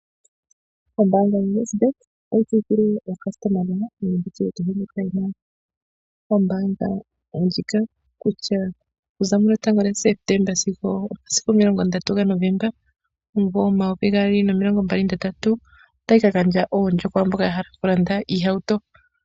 Ombaanga yoWesbank otayi tseyithile aayakulwa nenge mboka ye na omayalulo gombaanga yawo kutya okuza 1 Septemba sigo 30 Novemba 2023 otayi ka gandja omikuli kwaa mboka ya hala okulanda iihauto.